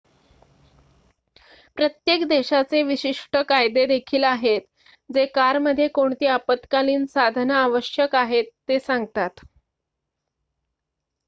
प्रत्येक देशाचे विशिष्ट कायदे देखील आहेत जे कारमध्ये कोणती आपत्कालीन साधनं आवश्यक आहेत ते सांगतात